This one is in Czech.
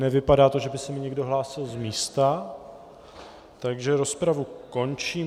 Nevypadá to, že by se mi někdo hlásil z místa, takže rozpravu končím.